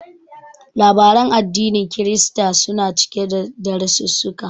Labaran addinin Kirista suna cike da darasissuka.